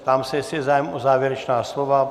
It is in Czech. Ptám se, jestli je zájem o závěrečná slova.